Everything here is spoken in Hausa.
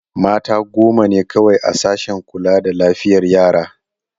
Mata goma ne kawai a sashen kula da lafiyar yara.